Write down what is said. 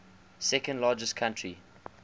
second largest country